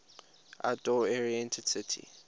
outdoor oriented city